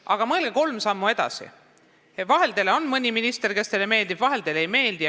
Aga mõelge kolm sammu edasi: vahel on mõni minister, kes teile meeldib, vahel ka mõni, kes teile ei meeldi.